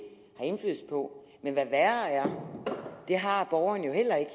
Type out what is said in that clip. har indflydelse på men hvad værre er det har borgerne jo heller ikke